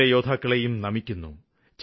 വീരയോദ്ധാക്കളെയും നമിക്കുന്നു